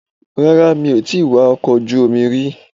Rárá mi ò tíì wakọ̀ ojú omi rí.